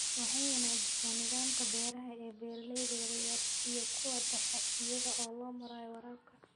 Waxay wanaajisaa nidaamka beeraha ee beeralayda yaryar iyo kuwa dhexe iyada oo loo marayo waraabka.